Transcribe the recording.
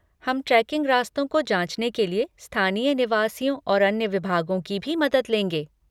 हम ट्रेकिंग रास्तों को जाँचने के लिए स्थानीय निवासियों और अन्य विभागों की भी मदद लेंगे।